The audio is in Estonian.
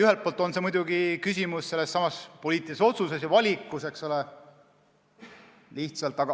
Ühelt poolt on muidugi küsimus sellessamas poliitilises otsuses ja valikus, eks ole.